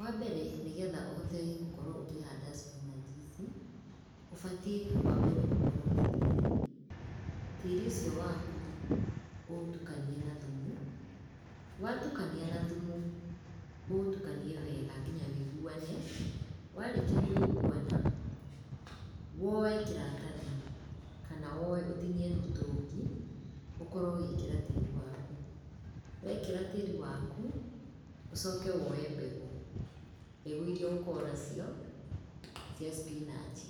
Wambere, nĩgetha ũhote gũkorwo ũkĩhanda cipinanji ici, ũbatiĩ wambe ũkorwo na tĩri, tĩri ũcio waku ũtukanie na thumu, watukania na thumu, ũtukanie wega nginya wiguane, warĩkia kũiguana, woe kĩratahi, kana woe ũtinie mũtũngi, ũkorwo ũgĩkĩra tĩri waku. Wekĩra tĩri waku, ũcoke woe mbegũ. Mbegũ irira ũgũkorwo nacio, cia cipinanji.